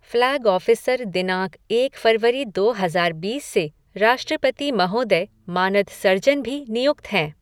Flag officer दिनांक एक फरवरी दो हजार बीस से राष्ट्रपति महोदय मानद सर्जन भी नियुक्त हैं।